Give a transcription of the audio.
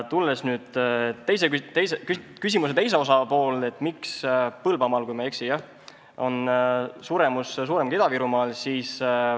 Tulen nüüd küsimuse teise osa juurde, et miks Põlvamaal, kui ma ei eksi, on suremus suurem kui Ida-Virumaal.